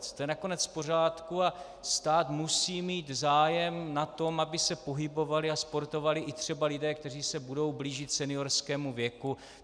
To je nakonec v pořádku a stát musí mít zájem na tom, aby se pohybovali a sportovali i třeba lidé, kteří se budou blížit seniorskému věku.